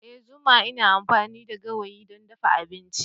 Ee zuma ina amfani da gawayi don dafa abinci.